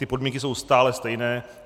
Ty podmínky jsou stále stejné.